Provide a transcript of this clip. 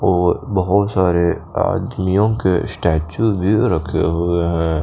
और बोहोत सारे आदमियों के स्टेचू भी रखे हुए है।